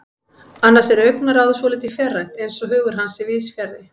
Annars er augnaráðið svolítið fjarrænt, eins og hugur hans sé víðsfjarri.